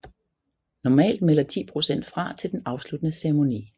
Normalt melder 10 procent fra til den afsluttende ceremoni